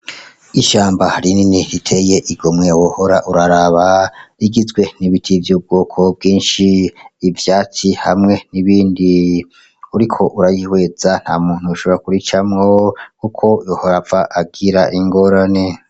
Ishamba rinini riteye igomwe wohora urararaba .Rigizwe n'ibiti vy'ubwoko bwinshi , ivyatsi hamwe n'ibindi, Uriko uraryihweza nta muntu yoshobora kuricamwo Kuko yohava agira ingorane.